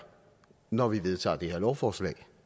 når vi vedtager det her lovforslag